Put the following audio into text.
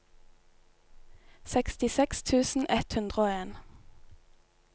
sekstiseks tusen ett hundre og en